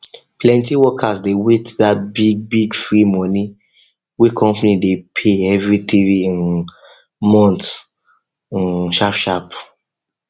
plenty workers dey wait that big big free money wey company dey pay every three um months um sharp sharp